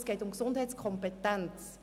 Es geht um die Gesundheitskompetenz.